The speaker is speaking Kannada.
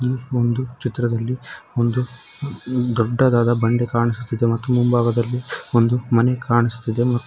ಒಂದು ಚಿತ್ರದಲ್ಲಿ ಒಂದು ದೊಡ್ಡದಾದ ಬಂಡೆ ಕಾಣಿಸುತ್ತಿದೆ ಮತ್ತು ಮುಂಭಾಗದಲ್ಲಿ ಒಂದು ಮನೆ ಕಾಣಿಸುತ್ತಿದೆ ಮತ್ತು--